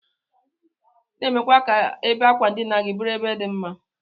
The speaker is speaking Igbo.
Na emekwa ka ebe akwandina buru ebe di mma.